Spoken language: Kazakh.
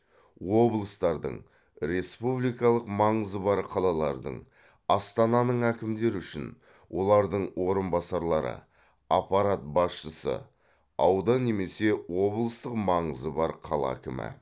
облыстардың республикалық маңызы бар қалалардың астананың әкімдері үшін олардың орынбасарлары аппарат басшысы аудан немесе облыстық маңызы бар қала әкімі